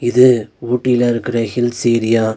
இது ஊட்டில இருக்கற ஹில்ஸ் ஏரியா .